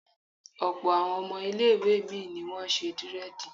Ọ̀pọ̀ àwọn ọmọ ilé ìwé mi ni wọ́n ṣe dírẹ̀dì